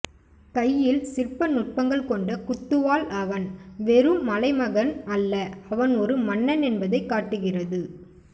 கையில் சிற்ப நுட்பங்கள் கொண்ட குத்துவாள் அவன் வெறும் மலைமகன் அல்ல அவன் ஒரு மன்னன் என்பதைக் காட்டுகிறது